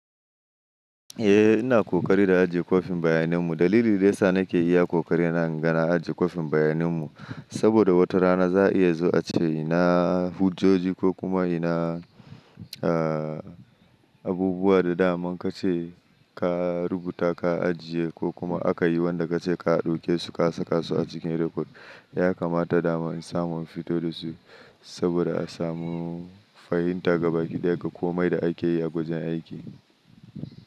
Eh ina kokari da ajiye kwafin bayaninmu. Dalilin da ya sa nake iya kokari na, na gane ajiye kwafin bayaninmu, saboda wata rana za a iya zuwa ace ina hujjoji ko kuma ina, a, abubuwa da dama kace ka rubuta ka ajiye ko kuma aka yi wanda kace ka ɗauke su ka saka su a cikin rekod. Ya kamata da ma in samu in fito da su saboda a samu fahimta gaba ki ɗaya ga komai da ake yi a gwajin aiki.